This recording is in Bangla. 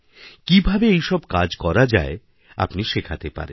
কীভাবে এইসব কাজ করাযায় আপনি শেখাতে পারেন